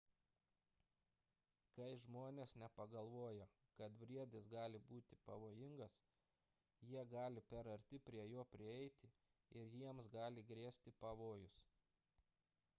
kai žmonės nepagalvoja kad briedis gali būti pavojingas jie gali per arti prie jo prieiti ir jiems gali grėsti pavojus